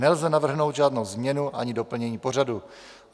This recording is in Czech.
Nelze navrhnout žádnou změnu ani doplnění pořadu.